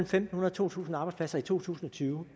fem hundrede og to tusind arbejdspladser i to tusind og tyve